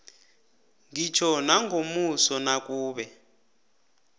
ngitjho nangomuso nakube